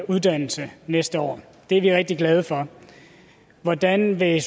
uddannelse næste år det er vi rigtig glade for hvordan vil